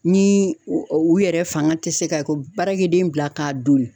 Ni u yɛrɛ fanga tɛ se ka ko baarakɛden bila k'a don.